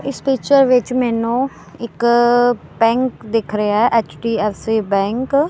ਇਸ ਪੀਚਰ ਵਿੱਚ ਮੈਨੂੰ ਇੱਕ ਬੈਂਕ ਦਿਖ ਰਿਹਾ ਹੈ ਐਚ_ਡੀ_ਐਫ_ਸੀ ਬੈਂਕ --